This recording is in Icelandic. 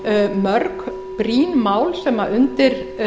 mörg brýn mál sem undir